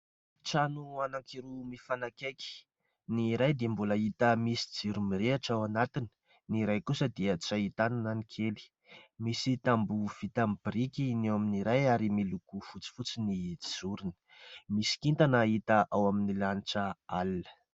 Trano anankiroa mifanakaiky : ny iray dia mbola hita misy jiro mirehitra ao anatiny ; ny iray kosa dia tsy ahitana na ny kely. Misy tamboho vita amin'ny biriky ny eo amin'ny iray ary miloko fotsifotsy ny jorony. Misy kintana hita ao amin'ny lanitra alina.